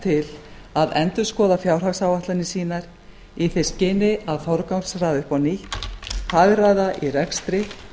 til að endurskoða fjárhagsáætlanir sínar í því skyni að forgangsraða upp á nýtt hagræða í rekstri